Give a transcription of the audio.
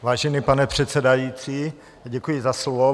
Vážený pane předsedající, děkuji za slovo.